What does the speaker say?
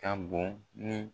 Ka bon ni